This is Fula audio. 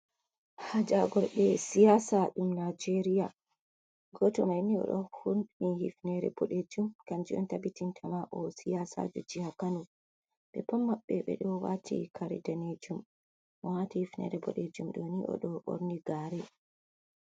Hajargorɓe siyasa ɗum najeria, goto maini oɗo hunni hifinere bodejum kanju on tabbitin tama o siyasa jo jiha Kano, ɓe pat mabbe ɓedo wati kare danejum, mo wati hifinere bodejum ɗoni o do borni gare.